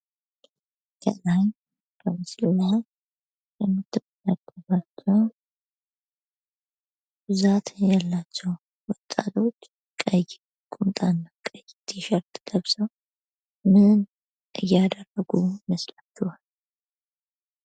ከላይ በምስሉ ላይ የምትመለከቷቸዉ ብዛት ያላቸዉ ወጣቶች ቀይ ቁምጣ እና ቀይ ቲሸርት ለብሰዉ ምን እያደረጉ ይመስላችኋል?